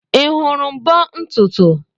Ị hụrụ mbo ntutu?